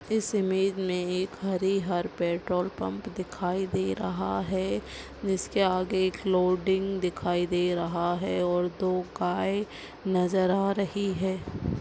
इस इमेज मे एक हरी हर पेट्रोल पम्प दिखाई दे रहा है जिसके आगे एक लोडिंग दिखाई दे रहा है और दो गाय नजर आ रही है।